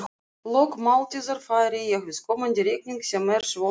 lok máltíðar færi ég viðkomandi reikning sem er svo svim